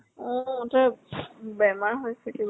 অ তাৰ বেমাৰ হৈছে কিবা